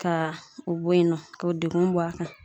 Ka o bɔ yen nɔ k'o degun bɔ a kan